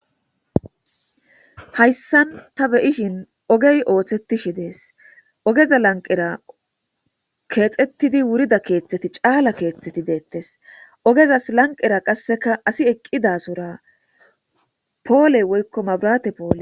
hayssan ta beyishin ogey ooththetishi dees ogeza lanqera keexettidi wurida keeththeti caala keeththeti deettes ogezas lanqera qasseka asi eqqidasura pooley woykko mabrate poole